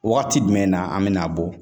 Wagati jumɛn na an bɛna bɔ?